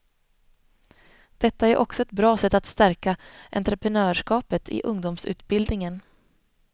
Detta är också ett bra sätt att stärka entreprenörskapet i ungdomsutbildningen.